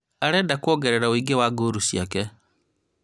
Arenda kwongerera woingĩ wa ngolu ciake